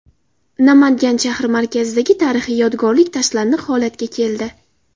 Namangan shahri markazidagi tarixiy yodgorlik tashlandiq holatga keldi.